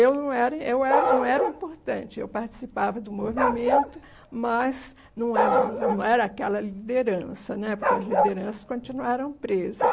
Eu não era, eu era, não era importante, eu participava do movimento, mas não era não era aquela liderança né, porque as lideranças continuaram presas.